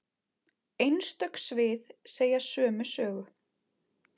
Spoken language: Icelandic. Einstök svið segja sömu sögu.